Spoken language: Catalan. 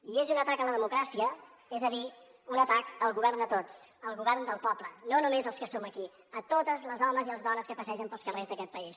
i és un atac a la democràcia és a dir un atac al govern de tots al govern del poble no només dels que som aquí a totes les dones i els homes que passegen pels carrers d’aquest país